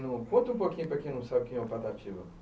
É. Conta um pouquinho para quem não sabe quem é o Patativa.